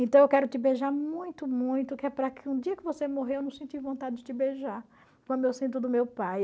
Então eu quero te beijar muito, muito, que é para que um dia que você morrer eu não senti vontade de te beijar, como eu sinto do meu pai.